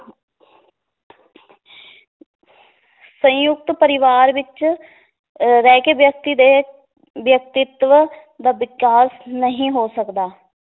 ਸੰਯੁਕਤ ਪਰਿਵਾਰ ਵਿੱਚ ਅਹ ਰਹਿ ਕੇ ਵਿਅਕਤੀ ਦੇ ਵਿਅਕਤਿਤਵ ਦਾ ਵਿਕਾਸ ਨਹੀ ਹੋ ਸਕਦਾ